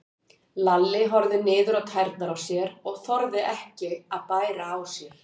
Lalli horfði niður á tærnar á sér og þorði ekki að bæra á sér.